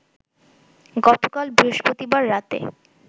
গতকাল বৃহস্পতিবার রাতে